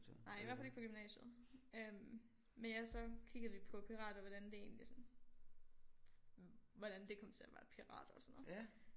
Nej i hvert fald ikke på gymnasiet øh men ja så kiggede vi på pirater hvordan det egentlig sådan hvordan det kom til at være pirater og sådan noget